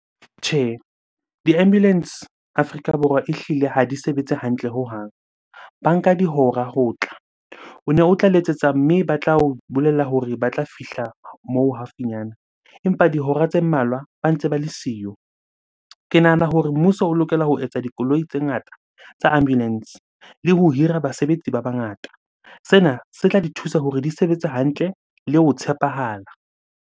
Tjhe, di-ambulance Afrika Borwa ehlile ha di sebetse hantle hohang. Ba nka dihora ho tla. O ne o tla letsetsa mme ba tla o bolella hore ba tla fihla moo haufinyana, empa dihora tse mmalwa ba ntse ba le siyo. Ke nahana hore mmuso o lokela ho etsa dikoloi tse ngata tsa ambulance le ho hira basebetsi ba bangata. Sena se tla di thusa hore di sebetse hantle le ho tshepahala.